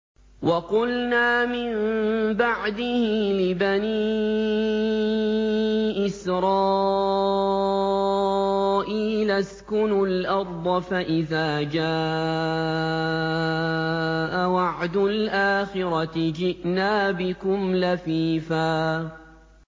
وَقُلْنَا مِن بَعْدِهِ لِبَنِي إِسْرَائِيلَ اسْكُنُوا الْأَرْضَ فَإِذَا جَاءَ وَعْدُ الْآخِرَةِ جِئْنَا بِكُمْ لَفِيفًا